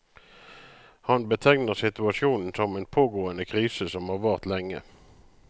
Han betegner situasjonen som en pågående krise som har vart lenge.